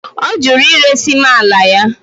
Ọ jụrụ iresi m ala ya.